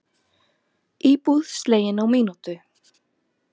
Íbúð slegin á mínútu